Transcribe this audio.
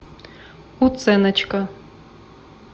уценочка